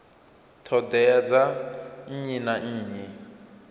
ṱhoḓea dza nnyi na nnyi